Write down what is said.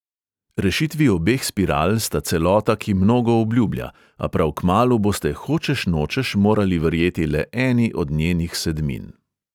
Rešitvi obeh spiral sta celota, ki mnogo obljublja, a prav kmalu boste hočeš nočeš morali verjeti le eni od njenih sedmin.